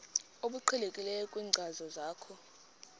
obuqhelekileyo kwinkcazo yakho